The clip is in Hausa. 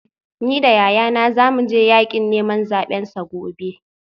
Ni da yayana za mu je yakin neman zabensa gobe